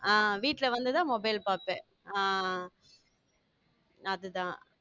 ஆஹ் வீட்டுல வந்துதான் mobile பார்ப்பேன் ஆஹ் அது தான்